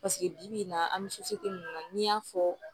Paseke bibi in na an bɛ na n'i y'a fɔ